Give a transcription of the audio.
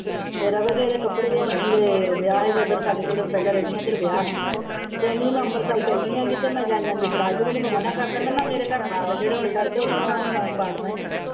ਜਿਹੜੇ ਕੱਪੜੇ ਲਿਆਉਣੇ ਸੀ ਜਿਹੜੇ ਵਿਆਹ ਸੀ ਸਾਡੇ ਉੱਧਰ ਜਿੱਥੇ ਮੈਂ ਪਹਿਲਾ ਰਹਿੰਦੀ ਸੀ ਉੱਧਰ ਵਿਆਹ ਸੀ ਕਹਿੰਦੀ ਮੈਂ ਅੰਮ੍ਰਿਤਸਰ ਚੱਲੀ ਹਾਂ ਕਿੱਧਰੇ ਮੈਂ ਜਾਂਦੀ ਜਾਂਦੀ ਫੜਾ ਜਾਉਂਦੀ ਹਾਂ ਤੇ ਮੈਂ ਮਨਾ ਕਰ ਦਿੱਤਾ ਮੇਰੇ ਘਰ ਨਾ ਆਵੇ ਜਿਹੜੇ ਹੁਣ ਛੱਡ ਦਿੱਤੇ ਉਹਨਾਂ ਨੂੰ ਮੈਂ ਵੜਨਾ ਨਹੀਂ।